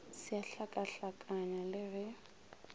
se a hlakahlakanya le ge